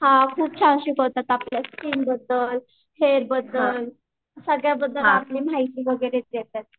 हां खूप छान शिकवतात आपल्या स्किन बद्दल फेस बद्दल सगळ्या बद्दल आपल्या माहिती देतात.